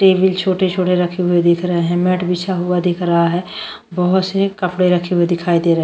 table छोटे छोटे रखे हुए दिख रहे है मैट बिछा हुआ दिख रहा है बहुत से कपड़े रखे हुए दिखाई दे रहे --